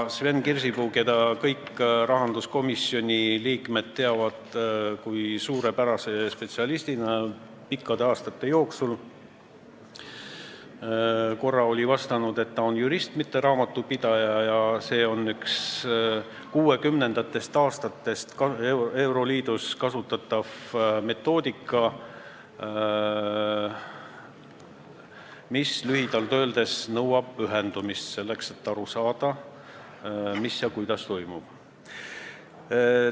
Sven Kirsipuu, keda kõik rahanduskomisjoni liikmed pikkade aastate jooksul on teadnud kui suurepärast spetsialisti, korra vastas, et ta on jurist, mitte raamatupidaja ja see on kuuekümnendatest aastatest euroliidus kasutatav metoodika, mis lühidalt öeldes nõuab pühendumist, selleks et aru saada, mis ja kuidas toimub.